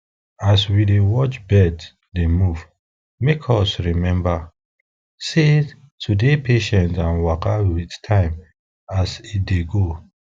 as we dey watch birds dey move make us remember sey to dey patient and waka with time as e dey go